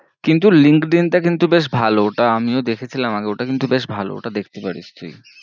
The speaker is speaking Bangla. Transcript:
কিন্তু LinkedIn টা কিন্তু বেশ ভালো, ওটা আমিও দেখেছিলাম আগে ওটা কিন্তু বেশ ভালো, ওটা দেখতে পারিশ তুই।